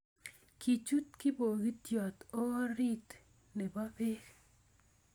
Kichut kipokitiot orit nebo pek